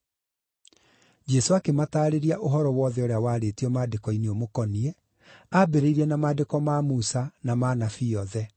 Jesũ akĩmataarĩria ũhoro wothe ũrĩa waarĩtio Maandĩko-inĩ ũmũkoniĩ, ambĩrĩirie na maandĩko ma Musa na ma Anabii othe.